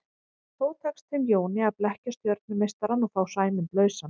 Þó tekst þeim Jóni að blekkja stjörnumeistarann og fá Sæmund lausan.